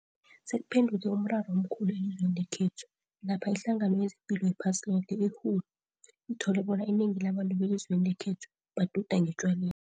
sekuphenduke umraro omkhulu elizweni lekhethu, lapha iHlangano yezePilo yePhasiloke, i-WHO, ithole bona inengi labantu belizweni lekhethu, baduda ngetjwaleni.